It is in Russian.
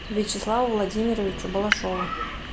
вячеславу владимировичу балашову